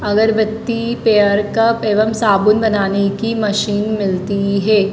अगरबत्ती paper cup एवं साबुन बनाने की मशीन मिलती है।